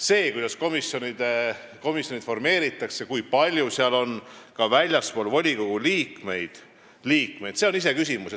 See, kuidas komisjonid formeeritakse ja kui palju on neis liikmeid väljastpoolt volikogu, on iseküsimus.